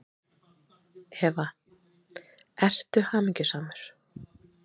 Eva: Ertu hamingjusamur?